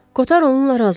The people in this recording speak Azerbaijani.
Kotar onunla razılaşdı.